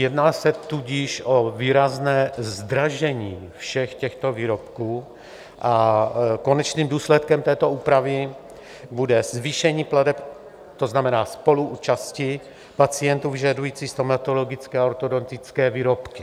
Jedná se tudíž o výrazné zdražení všech těchto výrobků a konečným důsledkem této úpravy bude zvýšení plateb, to znamená spoluúčasti pacientů vyžadujících stomatologické a ortodontické výrobky.